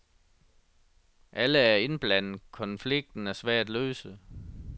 Alle er indblandet, konflikten er svær at løse.